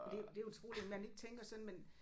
Det jo det utroligt man ikke tænker sådan men